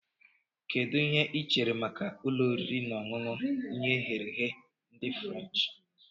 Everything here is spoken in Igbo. Kedu ihe ị chere maka ụlọ oriri na ọṅụṅụ ihe eghere ehe ndị furenchi